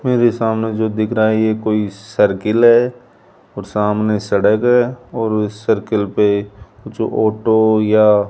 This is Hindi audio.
मेरे सामने जो दिख रहा है ये कोई सर्किल है और सामने सड़क है और उस सर्किल पे कुछ ऑटो या --